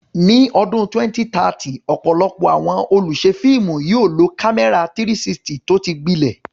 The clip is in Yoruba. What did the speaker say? Ní ọdún 2030, ọ̀pọ̀lọpọ̀ àwọn olùṣe fíìmù yóò lo kámẹ́rà 360 tó ti gbilẹ̀.